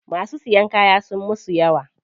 Masu siyan kaya sunyi musu yawa.